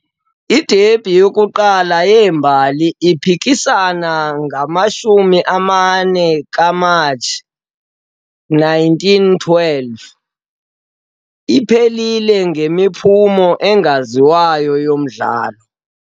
I-derby yokuqala yeembali, iphikisana ngo-24 Matshi 1912, iphelile ngemiphumo engaziwayo yomdlalo.